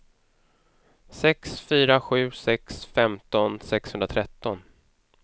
sex fyra sju sex femton sexhundratretton